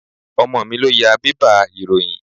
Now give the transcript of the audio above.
Ọmọ mi ló ya bébà ìròyìn.